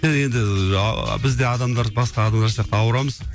енді біз де адамдар басқа адамдар сияқты ауырамыз